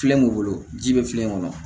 Filen m'u bolo ji bɛ filen kɔnɔ